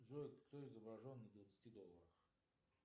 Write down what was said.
джой кто изображен на двадцати долларах